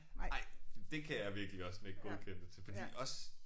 Nej det kan jeg virkelig også nikke godkendende til fordi også